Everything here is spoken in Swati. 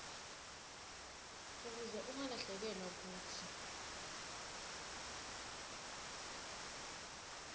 ukuze ungalahlekelwa kutsi